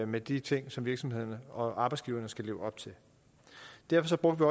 med de ting som virksomhederne og arbejdsgiverne skal leve op til derfor brugte